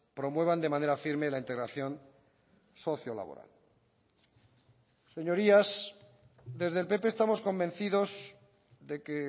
promuevan de manera firme la integración socio laboral señorías desde el pp estamos convencidos de que